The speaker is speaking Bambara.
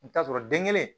I bɛ taa sɔrɔ den kelen